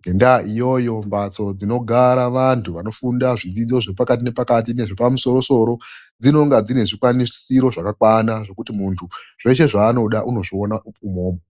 Ngendaa iyoyo mbatso dzinogara vantu vanofunda zvidzidzo zvepakati nepakati nezvepamusoro soro dzinenge dzine zvikwanisiro zvekuti zveshe zvaanoda anozviona mwona umomo.